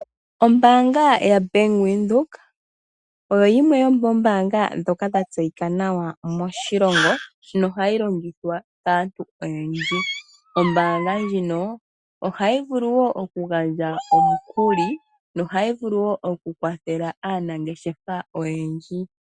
Ombaanga ya Bank Windhoek oyo yimwe yomoombaanga ndhoka dha tseyika nawa moshilongo nohayi longithwa kaantu oyendji. Ombaanga ndjino ohayi vulu woo oku gandja omukuli nohayi vulu woo oku kwathela aanangeshefa oyendji. Coo